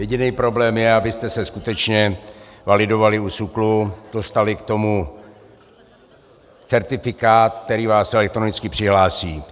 Jediný problém je, abyste se skutečně validovali u SÚKLu, dostali k tomu certifikát, který vás elektronicky přihlásí.